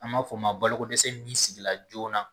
An b'a fɔ o ma bakodɛsɛ min sigila joona